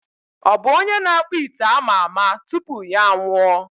Ọ bụ onye na-akpụ ite ama ama tupu ya anwụọ?